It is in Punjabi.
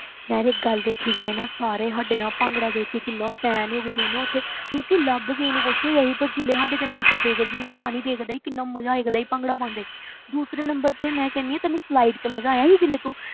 ਯਾਰ ਇੱਕ ਗੱਲ ਦੇਖੀ ਜਾਏ ਨਾ ਸਾਰੇ ਸਾਡੇ ਨਾ ਭੰਗੜਾ ਦੇਖ ਕੇ ਕਿੰਨਾ fan ਹੋ ਗਏ ਸੀ ਨਾ ਉੱਥੇ ਮਤਲਬ ਕਿ ਲੱਭ ਕਿਸੇ ਨੂੰ ਕੁਛ ਨੀ ਰਿਹਾ ਸੀ but ਜਿਵੇਂ ਸਾਡੇ ਤੇ lights ਪਇਆ ਕਰਦੀਆਂ ਨਾ ਪਾਣੀ ਪਿਆ ਕਰਦਾ ਸੀ ਕਿੰਨਾ ਮਜ਼ਾ ਆਇਆ ਕਰਦਾ ਸੀ ਭੰਗੜਾ ਪਾਉਂਦੇ ਦੂਸਰੇ number ਤੇ ਮੈਂ ਕਹਿੰਦੀ ਹਾਂ ਤੈਨੂੰ slide 'ਚ ਮਜ਼ਾ ਆਇਆ ਸੀ ਜਦੋਂ ਤੂੰ